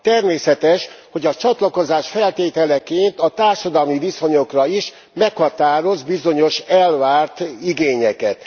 Természetes, hogy a csatlakozás feltételeként a társadalmi viszonyokra is meghatároz bizonyos elvárt igényeket.